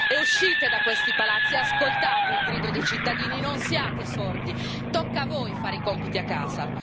E uscite da questi palazzi, ascoltate il grido dei cittadini, non siate sordi, tocca a voi fare i compiti a casa.